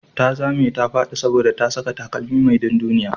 Ta zame ta faɗi saboda ta saka takalmi mai dunduniya.